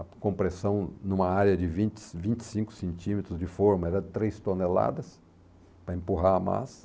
A compressão numa área de vinte vinte e cinco centímetros de forma era de três toneladas para empurrar a massa.